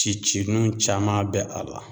Cicinuw caman bɛ a la